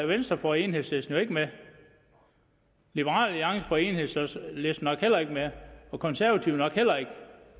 venstre får enhedslisten jo ikke med liberal alliance får enhedslisten nok heller ikke med og konservative nok heller ikke